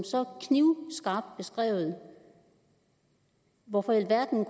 så knivskarpt beskrevet hvorfor i alverden